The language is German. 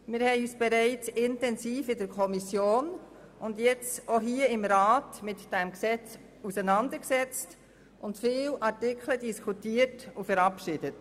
Wir haben uns bereits in der Kommission und jetzt auch hier im Rat mit diesem Gesetz auseinandergesetzt und viele Artikel diskutiert und verabschiedet.